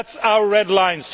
That is our red line.